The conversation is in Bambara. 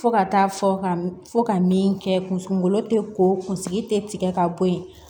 Fo ka taa fɔ ka fɔ ka min kɛ kunsgolo tɛ ko kunsigi tɛ tigɛ ka bɔ yen